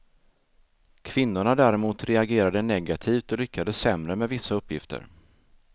Kvinnorna däremot reagerade negativt och lyckades sämre med vissa uppgifter.